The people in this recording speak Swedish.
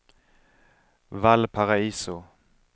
Valparaiso